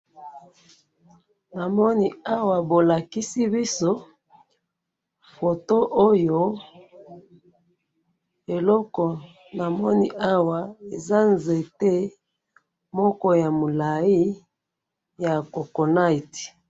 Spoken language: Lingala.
Awa balakisi biso, eza nzete moko ya mulayi ya coco nuts.